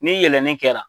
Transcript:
Ni yɛlɛlen kɛra